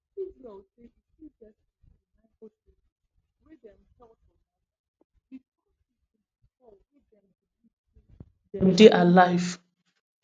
israel say e still get fifty-nine hostages wey dey held for gaza wit up to twenty-four wey dem believe say dem dey alive